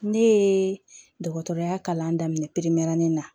Ne ye dɔgɔtɔrɔya kalan daminɛ na